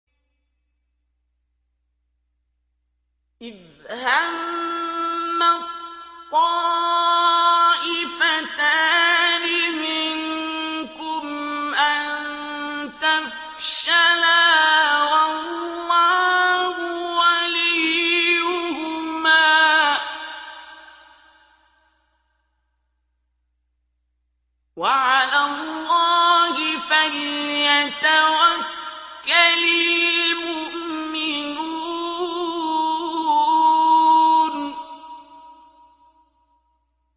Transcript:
إِذْ هَمَّت طَّائِفَتَانِ مِنكُمْ أَن تَفْشَلَا وَاللَّهُ وَلِيُّهُمَا ۗ وَعَلَى اللَّهِ فَلْيَتَوَكَّلِ الْمُؤْمِنُونَ